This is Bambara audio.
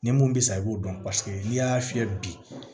Ni mun bɛ sa i b'o dɔn n'i y'a fiyɛ bi